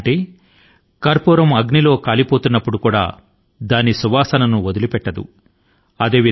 ఈ మాటల కు కర్పూరం అగ్ని లో మండుతూ ఉన్నప్పుడు కూడా దాని సుగంధాన్ని వదలిపెట్టదు అని భావం